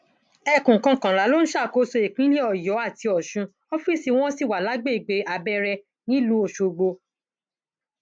ẹkùn kọkànlá ló ń ṣàkóso ìpínlẹ ọyọ àti ọsun ọọfíìsì wọn sì wà lágbègbè abẹrẹ nílùú ọṣọgbò